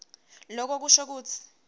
loko kusho kutsi